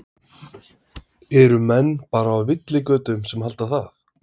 Eru menn bara á villigötum sem halda það?